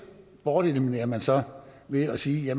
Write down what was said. borteliminerer man så ved at sige at